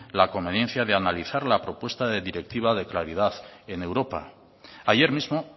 la conveniencia de analizar la propuesta de la directiva de claridad en europa ayer mismo